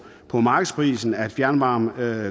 på markedsprisen at fjernvarmekunder